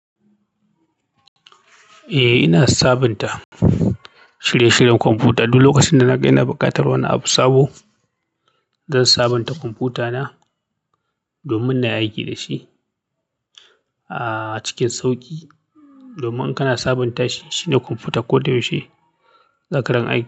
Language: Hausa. Eh, ina sabunta shirye-shiryen kwamfuta duk lokacin da na ga ina buƙatar wani abu sabo. Zan sabunta kwamfutana domin na yi aiki da shi, ah, cikin sauƙi. Domin in kana sabunta shi, shine kwanfutar ko da yaushe, zaka rinƙa yin aiki.